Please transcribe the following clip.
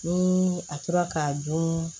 Ni a tora k'a dun